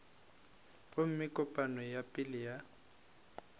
gomme kopano ya pele ya